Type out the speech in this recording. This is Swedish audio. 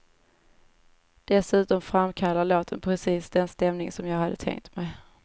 Dessutom framkallar låten precis den stämning som jag hade tänkt mig.